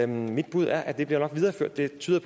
mit bud er at det nok bliver videreført det tyder